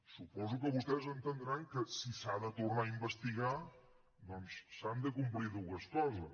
suposo que vostès deuen entendre que si s’ha de tornar a investigar doncs s’han de complir dues coses